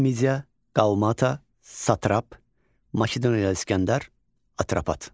Kiçik Media, Qalmatta, Satrap, Makedoniyalı İskəndər, Atropat.